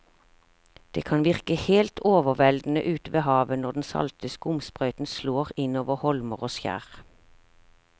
Det kan virke helt overveldende ute ved havet når den salte skumsprøyten slår innover holmer og skjær.